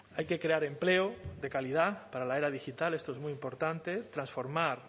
hay que crear empleo de calidad para la era digital esto es muy importante transformar